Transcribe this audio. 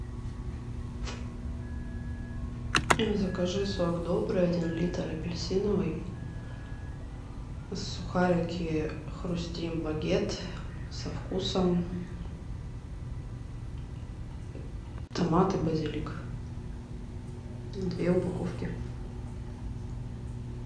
закажи сок добрый один литр апельсиновый сухарики хрустим багет со вкусом томат и базилик две упаковки